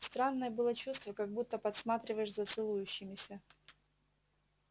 странное было чувство как будто подсматриваешь за целующимися